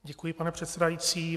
Děkuji, pane předsedající.